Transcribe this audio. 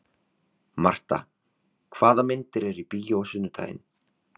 Marta, hvaða myndir eru í bíó á sunnudaginn?